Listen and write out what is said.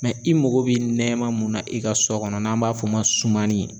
i mago be nɛɛma mun na i ka sɔ kɔnɔ n'an b'a f'ɔ ma sumani